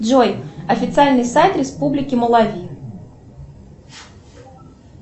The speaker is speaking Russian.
джой официальный сайт республики малави